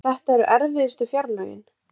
En þetta eru erfiðustu fjárlögin